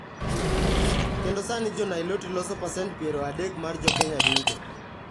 Kendo sani Jo-Niloti loso pasent piero adek mar Jo-Kenya duto.